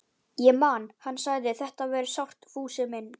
Ég man að hann sagði: Þetta verður sárt, Fúsi minn.